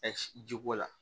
ji ko la